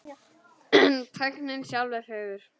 En tæknin sjálf er fögur.